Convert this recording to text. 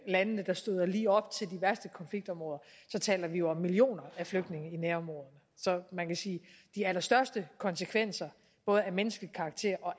landene der støder lige op til de værste konfliktområder så taler vi jo om millioner af flygtninge i nærområderne så man kan sige at de allerstørste konsekvenser både af menneskelig karakter og